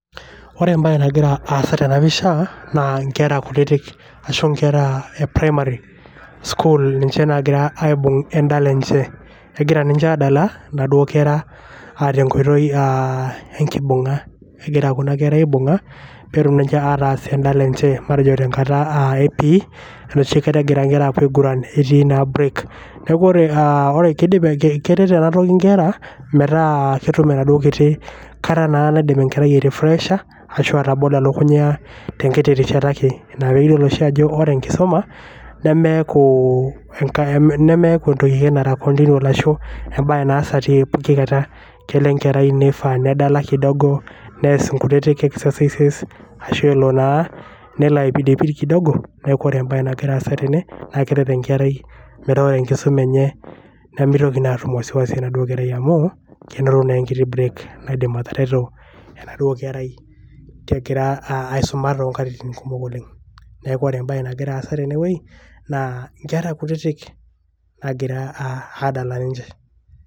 Ore mbae nagira aasa tena pisha naa nkera kutitik ashu nkera e primary school ninche naagira aibung en`dala enche. Egira ninche aadala naduo kera aa tenkoitoi aa enkibung`a. Egira kuna kera aibung`a pee etum ninche eas en`dala enye. Matejo tenkata e P.E arashu enoshi kata egira nkera aapuo aiguran etii naa break. Niaku ore aa keidip keret ena toki nkera metaa ketum enaduo kata kiti naidim enkerai ai refresh aa ashu atobolo elukunya tenkiti rishata ake. Ina pee iyiolo ajo ore enkisuma nemeeku, nemeeku entoki ake nara continual ashu embae naasa te poki kata. Kelo enkerai neifaa nedala kidogo neas nkutiti exercises ashu elo naa nelo aipidipid kidogo. Niaku ore embae nagira aasa tene naa keret enkerai metaa ore enkisuma enye nimitoki naa atum wasiwasi amu kenoto naa enkiti break naidim atareto enaduo kerai egira aisuma too nkatitin kumok oleng. Niaku ore embae nagira aasa tene wueji naa nkera kutitik naagira aadala ninche.